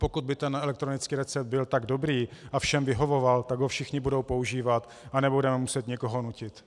Pokud by ten elektronický recept byl tak dobrý a všem vyhovoval, tak ho všichni budou používat a nebudeme muset nikoho nutit.